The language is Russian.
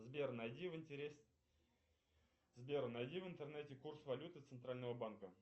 сбер найди в сбер найди в интернете курс валюты центрального банка